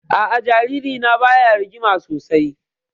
A'a, jaririna baya rigima sosai